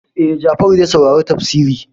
E, Jafaru zai saurari tafsiri.